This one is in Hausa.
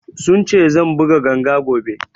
Sun ce zan buga ganga gobe